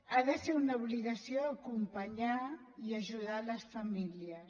ha de ser una obligació acompanyar i ajudar les famílies